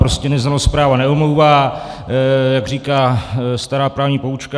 Prostě neznalost práva neomlouvá, jak říká stará právní poučka.